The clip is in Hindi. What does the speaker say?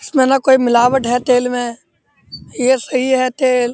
इसमें ना कोई मिलावट है तेल में ये सही है तेल --